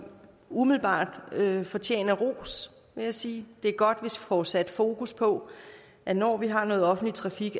umiddelbart fortjener ros vil jeg sige det er godt hvis vi får sat fokus på at når vi har noget offentlig trafik